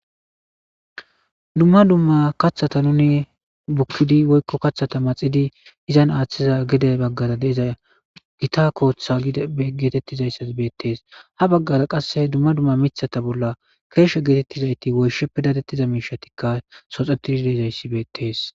dumma dumma kaththata nuni bukkidi woykko kathata maxidi izan aaththiza gede baggara deiza gita kooththa geetettizayssas beettees ha baggara qasse dumma dumma mithata bolla keeshe geetettizayti woysheppe dadettiza miishatikka soxetidi deezayssi beettees